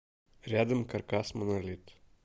рядом каркас монолит